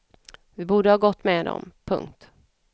Vi borde ha gått med dem. punkt